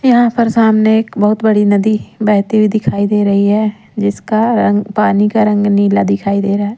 यहां पर सामने एक बहुत बड़ी नदी बहती हुई दिखाई दे रही है जिसका रंग पानी का रंग नीला दिखाई दे रहा है।